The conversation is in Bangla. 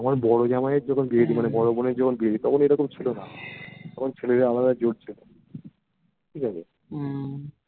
আমার বড় জামাইয়ের যখন বিয়ে দিই মানে বড়ো বোনের যখন বিয়ে দিই তখন এরকম ছিলোনা তখন ছেলেদের আলাদাই জোর ছিল ঠিকাছে